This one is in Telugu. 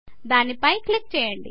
దాని పై క్లిక్ చేయండి